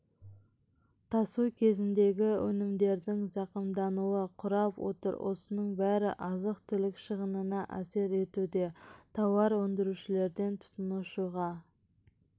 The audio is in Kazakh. тасу кезіндегі өнімдердің зақымдануы құрап отыр осының бәрі азық-түлік шығынына әсер етуде тауар өндірушілерден тұтынушыға